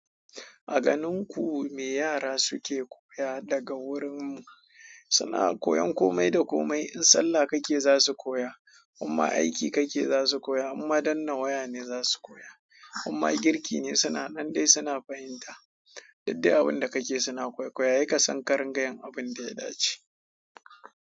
A ganin ku me yara suke koya daga wurin mu? Suna koyan kome da kome. In sallah kake za su koya, amma aiki kake za su koya, amma danna waya ne za su koya, amma girki ne suna nan dai suna fahimta. Duk dai abin da kake suna koikoya, ye kasan karin ga yin abin da ya dace.